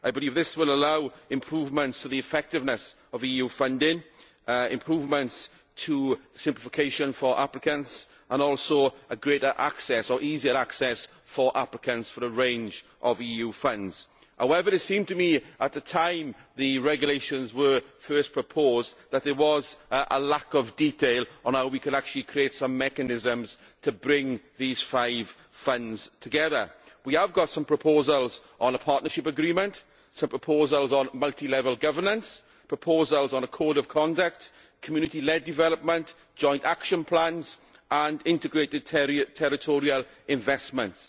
I believe this will allow improvements to the effectiveness of EU funding, improvements to simplification for applicants and also greater or easier access for applicants to a range of EU funds. However, it seemed to me at the time the regulations were first proposed that there was a lack of detail on how we could actually create some mechanisms to bring these five funds together. We have got some proposals on a partnership agreement, some proposals on multi level governance, proposals on a code of conduct, community led development, joint action plans and integrated territorial investments.